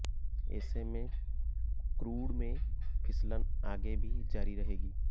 ऐसे में क्रूड में फिसलन आगे भी जारी रहेगी